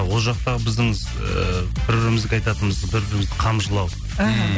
ол жақтағы біздің ыыы бір бірімізге айтатынымыз бір бірімізді қамшылау ммм